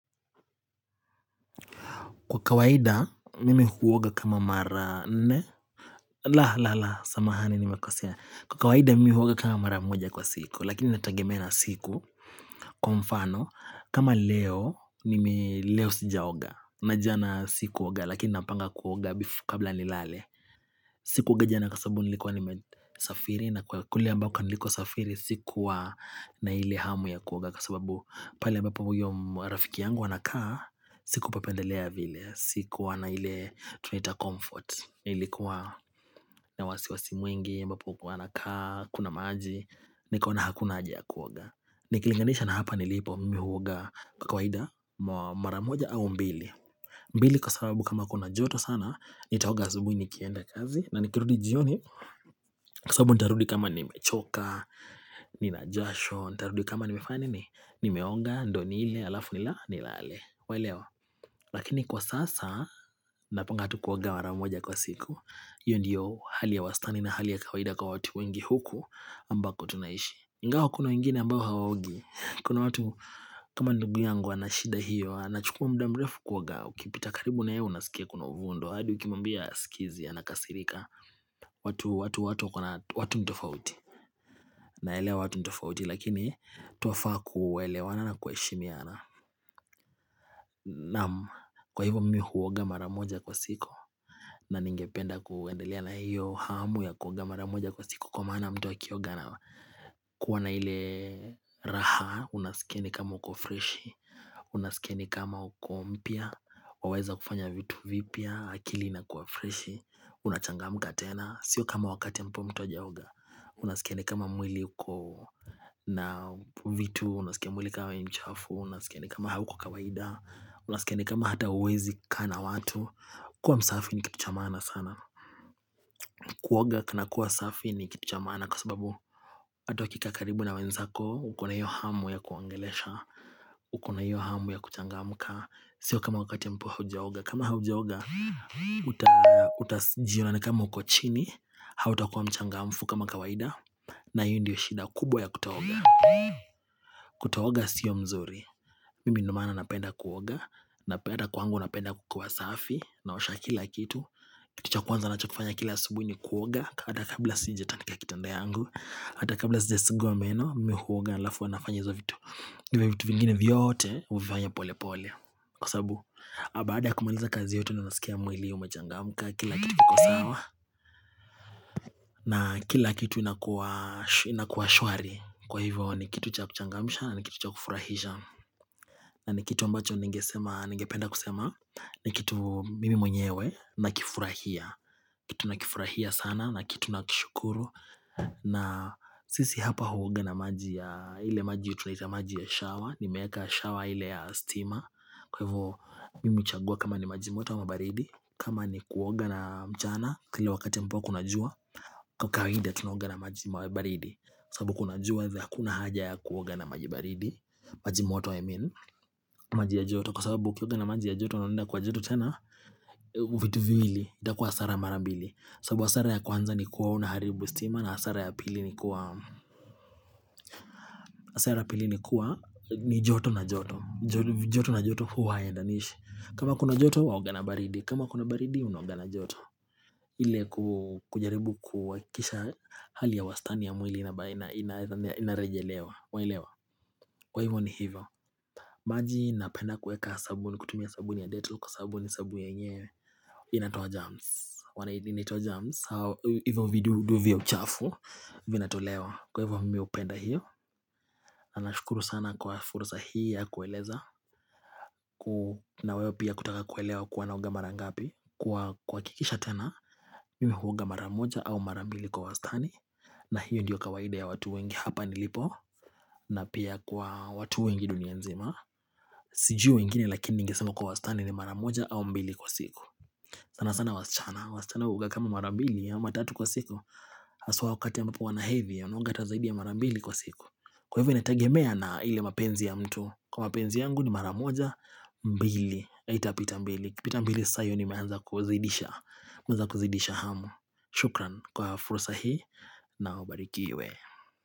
Kwa kawaida mimi huoga kama mara nne la la la samahani nimekosea Kwa kawaida mimi huoga kama mara moja kwa siku lakini inatagemea na siku kwa mfano kama leo nime leo sijaoga na jana sikuoga lakini napanga kuoga kabla nilale Sikuoga jana kwa sababu nilikuwa nimesafiri na kule ambako nilikuwa safiri Sikuwa na ile hamu ya kuoga Kwa sababu pale ambapo uyo rafiki yangu anakaa Sikupapendelea vile Sikuwa na ile tunaita comfort Nilikuwa na wasiwasi mwingi ambapo uko anakaa hakuna maji Nikaona hakuna haja ya kuoga Nikilinganisha na hapa nilipo mimi huoga kwa kawaida maramoja au mbili mbili kwa sababu kama kuna joto sana Nitaoga asubuhi nikienda kazi na nikirudi jioni Kwa sababu nitarudi kama nimechoka Nina jasho Nitarudi kama nimefanya nini Nimeoga, ndo nile, alafu nila, nilale waelewa Lakini kwa sasa Napanga tu kuoga mara moja kwa siku iyo ndiyo hali ya wastani na hali ya kawaida kwa watu wengi huku ambako tunaishi ingawa kuna wengine ambao hawaogi Kuna watu kama ndugu yangu na shida hiyo Anachukua muda mrefu kuoga ukipita karibu na yeye unasikia kuna uvundo hadi ukimwambia hasikizi anakasirika watu watu watu wakona watu ni tofauti naelewa watu ni tofauti lakini twafaa kuelewana na kuheshimiana naam kwa hivyo mimi huoga mara moja kwa siku na ningependa kuendelea na hiyo hamu ya kuoga mara moja kwa siku kwa maana mtu akioga anakuwa na ile raha unasikia ni kama uko freshi unasikia ni kama uko mpya waweza kufanya vitu vipya akili ina kuwa freshi Unachangamka tena Sio kama wakati ambapo mtu hajaoga Unasikia ni kama mwili uko na vitu Unasikia kama mwili kama ni mchafu Unasikia ni kama hauko kawaida Unasikia ni kama hata huwezi kaa na watu kuwa msafi ni kitu cha maana sana Kuoga kuna kuwa safi ni kitu cha maana Kwa sababu hata ukikaa karibu na wenzako uko na hiyo hamu ya kuwaongelesha uko na hiyo hamu ya kuchangamka Sio kama wakati ambapo hujaoga kama hujaoga Utajiona ni kama uko chini hauta kuwa mchangamfu kama kawaida na hiyo ndiyo shida kubwa ya kutooga kutooga sio mzuri mimi ndo maana napenda kuoga napenda kwangu napenda kukiwa safi naosha kila kitu kitu cha kwanza ninachokifanya kila asubuhi ni kuoga hata kabla sijatandika kitanda yangu hata kabla sijasugua meno mimi huoga halafu huwa nafanya izo vitu vitu vingine vyote huvifanya pole pole kwa sababu baada kumaliza kazi yote ndio ninasikia mwili umechangamka kila kitu kiko sawa na kila kitu inakuwa shwari kwa hivyo ni kitu cha kuchangamisha na ni kitu cha kufurahisha na ni kitu ambacho ningesema ningependa kusema ni kitu mimi mwenyewe na kifurahia Kitu na kifurahia sana na kitu nakishukuru na sisi hapa huoga na maji ya ile maji ya tunaita maji ya shower nimeweka shower ile ya stima Kwa hivyo mimi huchagua kama ni maji moto ama baridi kama ni kuoga na mchana kila wakati ambapo kuna jua Kwa kawaida tunaoga na maji baridi sababu kuna jua hivyo hakuna haja ya kuoga na maji baridi maji moto I mean maji ya joto Kwa sababu ukioga na maji ya joto na unaenda Kwa joto tena vitu viwili itakuwa hasara mara mbili sababu hasara ya kwanza ni kuwa unaharibu stima na hasara ya pili ni kuwa hasara ya pili ni kuwa ni joto na joto joto na joto huwa hayaendanishi kama kuna joto waoga na baridi kama kuna baridi unaoga na joto ile kujaribu kuhakisha Hali ya wastani ya mwili ambaye inarejelewa waelewa Kwa hivyo ni hivyo maji napenda kuweka sabuni kutumia sabuni ya dettol kwa sababu ni sabuni yenyewe inatoa jerms Wanaidini inaitwa jerms Hivyo vidudu vya uchafu Vinatolewa kwa hivyo mimi hupenda hiyo Anashukuru sana kwa fursa hii ya kueleza na wewe pia kutaka kuelewa kuwa naoga mara ngapi Kwa kuhakikisha tena Mimi huoga mara moja au mara mbili kwa wastani na hiyo ndiyo kawaida ya watu wengi hapa nilipo na pia kwa watu wengi dunia nzima Sijui wengine lakini ningesema kwa wastani ni mara moja au mbili kwa siku sana sana wasichana wasichana huoga kama mara mbili ya ama tatu kwa siku haswa wakati ambapo wanahevi ya wanaoga hata zaidi ya mara mbili kwa siku Kwa hivyo inategemea na ile mapenzi ya mtu Kwa mapenzi yangu ni maramoja mbili haitapita mbili ikipita mbili sasa hiyo nimeanza kuzidisha nimeanza kuzidisha hamu Shukran kwa fursa hii na ubarikiwe.